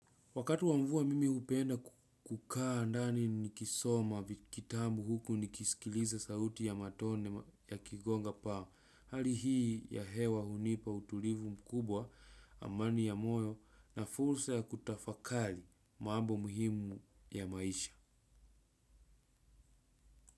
Wakati wa mvua mimi hupenda kukaa ndani nikisoma kitabu huku nikisikiliza sauti ya matone ya kigonga paa hali hii ya hewa hunipa utulivu mkubwa amani ya moyo na fursa ya kutafakali mambo muhimu ya maisha.